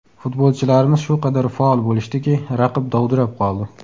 Futbolchilarimiz shu qadar faol bo‘lishdiki, raqib dovdirab qoldi.